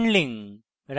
write function